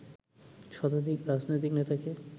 শতাধিক রাজনৈতিক নেতাকে